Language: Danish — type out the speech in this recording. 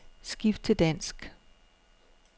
Skift til dansk.